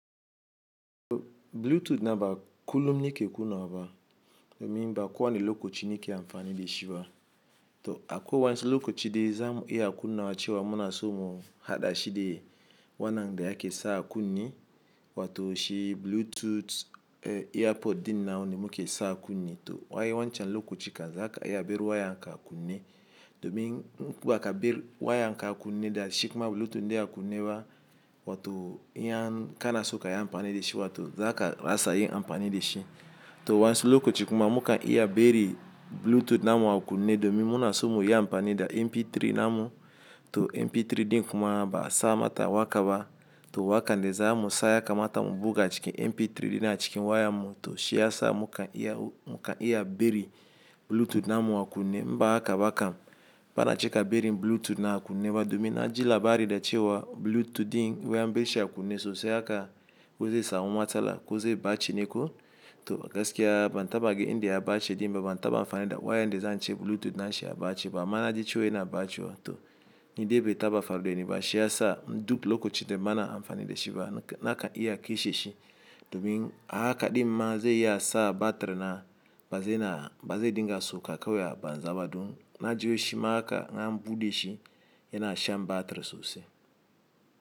To Bluetooth na ba kullum nike kunawa ba, domin ba ko wani lokoci nike amfani de shi ba. To akwai wasu lokoci de za mu iya kunawa chewa muna so mu hada shi de wanan da yake sa a kunne wato shi Bluetooth earpod dina wanda muke sa a kunne. To waye wancan lokoci kan za ka iya bari wayan ka a kunne, domi in baka bar wayan ka a kunne da shi kuma Bluetooth de a kunne ba wato iya kana so ka iya amfani da shi wato za ka rasa yin amfani da shi. To wasu lokoci kuma muka iya bari Bluetooth namu a kunne domi muna so mu iya amfani da MP3 namu. To MP3 din kuma ba sa mata wakaba, to wakan de za mu saya kamata mu buga cikin MP3 dina cikin wayan mu to shi ya sa muka iya, muka iya bari Bluetooth namu a kunne. In ba haka bakam bana cika bari Bluetooth na a kunne ba domi na ji labari da chewa Bluetooth din wai an bar shi a kunne sosai haka wai zai samu matsala ku zai ɓaci neko. To gaskiya ban taba ga inda ɓace din ba, ban taba amfani da wayan de zan ce Bluetooth na shi ya ɓace ba. Amma na ji chewa yana ɓacuwa. To ni debi taba faɗi ba shi ya sa duk lokoci de bana amfani da shi ba naka iya kasheshi domi hakaɗin ma zai iya sa batir na ba zai na, ba zai dinga so ka kawai banza ba. Dom na ji wai shi ma haka in an buɗe shi yana shan batir sosai.